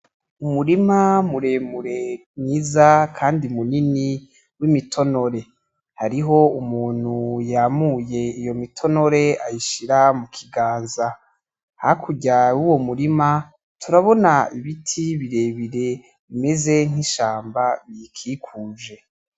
Umurima muremure mwiza kandi wimitonore hariho umuntu yamuye iyo mitonore ayishira mu kiganza hakurya yuwo murima turabona ibiti birebire bimeze nkishamba ibikikuje.